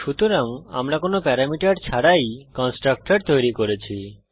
সুতরাং আমরা কোন প্যারামিটার ছাড়াই কন্সট্রকটর তৈরি করেছি